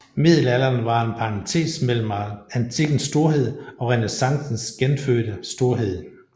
Middelalderen var en parentes mellem antikkens storhed og renæssancens genfødte storhed